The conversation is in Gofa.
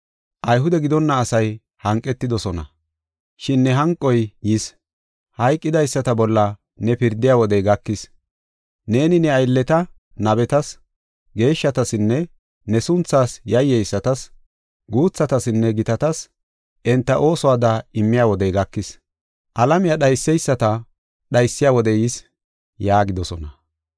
Ayhude gidonna asay hanqetidosona, shin ne hanqoy yis. Hayqidaysata bolla ne pirdiya wodey gakis; neeni ne aylleta, nabetas geeshshatasinne ne sunthaas yayyeysatas, guuthatasinne gitatas, enta oosuwada immiya wodey gakis. Alamiya dhayseysata dhaysiya wodey yis” yaagidosona.